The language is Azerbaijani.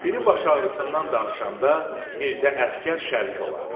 Biri baş ağrısından danışanda Mirzə Əsgər şərik olardı.